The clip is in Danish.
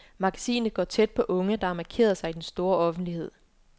Magasinet går tæt på unge, der har markeret sig i den store offentlighed.